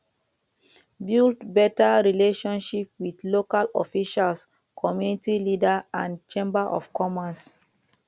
build better relationship with local officials community leader and chamber of commerce